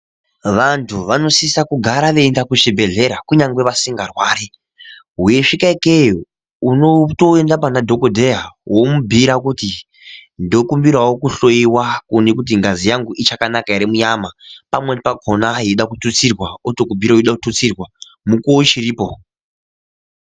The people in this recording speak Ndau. Vantu vanosise kugara veienda kuchibhedhleya kunyange vasingarwari weisvika ikeyo unitoenda panadhokodheya womubhuira kuti ndinokumbirawo kuhloyiwa kuone kuti ngazi yangu ichakanaka ere munyama pamweni pakona yeida kututsirwa otokubhiira yeida kututsirwa mukuwo uchiripo.